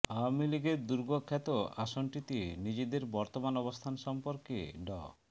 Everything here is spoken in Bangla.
আওয়ামী লীগের দূর্গখ্যাত আসনটিতে নিজেদের বর্তমান অবস্থান সম্পর্কে ড